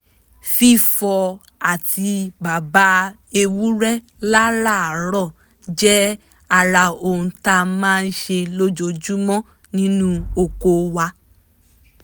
fífọ àtíbàbà ewúrẹ́ láràárọ̀ jẹ́ ara ohun tá a máa ṣe lójoojúmọ́ nínú oko wa